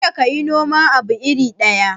Kada ka yi noman abu iri ɗaya.